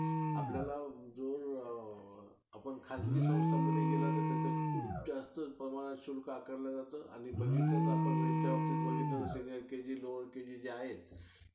हम्म माझे दाजी तर काय bank मध्ये घर bank मध्ये नोकरी करत अं चालूच असतं.